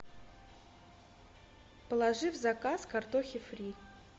положи в заказ картохи фри